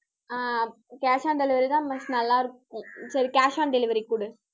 Ah cash on delivery தான் நல்லா இருக்கும். சரி cash on delivery கொடு